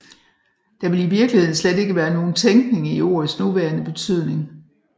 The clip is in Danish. Der vil i virkeligheden slet ikke være nogen tænkning i ordets nuværende betydning